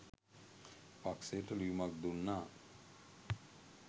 පක්ෂයට ලියුමක් දුන්නා